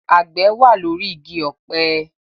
Àgbẹ̀ wà lórí igi ọ̀pẹ